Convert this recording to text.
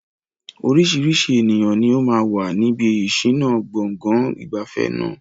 Oríṣiríṣi ènìyàn ni ó máa wà níbi ìṣìnà gbọ̀ngàn ìgbafẹ́ náà.